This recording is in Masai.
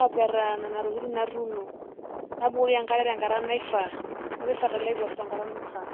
aapetaa nena tokitin natuuno, nabukoki enkare tenkata naifaa, napik fertilizer tenkata naifaa.